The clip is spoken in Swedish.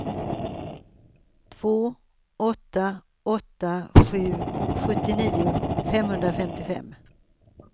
två åtta åtta sju sjuttionio femhundrafemtiofem